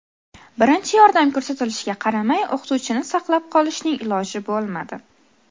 Birinchi yordam ko‘rsatilishiga qaramay, o‘qituvchini saqlab qolishning iloji bo‘lmadi.